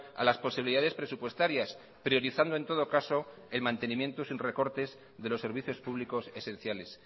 a las posibilidades presupuestarias priorizando en todo caso el mantenimiento sin recortes de los servicios públicos esenciales